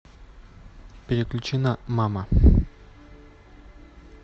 переключи на мама